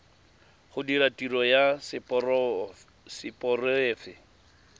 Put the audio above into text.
go dira tiro ya seporofe